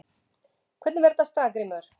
Hvernig fer þetta af stað Grímur?